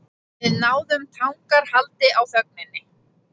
Við náðum tangarhaldi á þögninni.